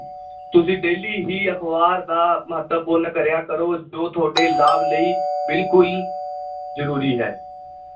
ਤੁਸੀਂ daily ਹੀ ਅਖਬਾਰ ਦਾ ਮਹੱਤਵਪੂਰਨ ਕਰਿਆ ਕਰੋ, ਜੋ ਤੁਹਾਡੇ ਲਾਭ ਲਈ ਬਿਲਕੁਲ ਜ਼ਰੂਰੀ ਹੈ।